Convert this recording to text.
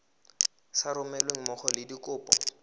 sa romelweng mmogo le dikopo